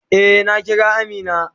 Eh, na Kira Amina.